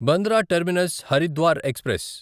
Bandra terminus Haridwar express